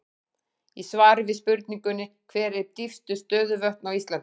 Í svari við spurningunni Hver eru dýpstu stöðuvötn á Íslandi?